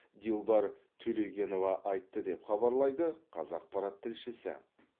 дилбар төлегенова айтты деп хабарлайды қазақпарат тілшісі